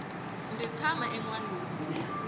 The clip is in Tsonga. ndzi tshama enwalungu